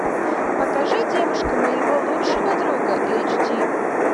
покажи девушка моего лучшего друга эйч ди